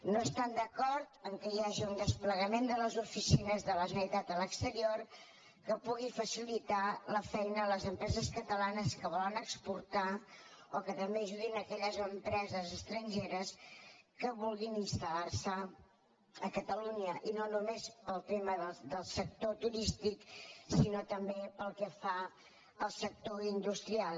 no estan d’acord que hi hagi un desplega·ment de les oficines de la generalitat a l’exterior que pugui facilitar la feina a les empreses catalanes que vo· len exportar o que també ajudin aquelles empreses es·trangeres que vulguin instal·lar·se a catalunya i no només pel tema del sector turístic sinó també pel que fa al sector industrial